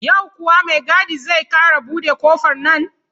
Yau kuwa mai gadi zai ƙara buɗe ƙofar nan?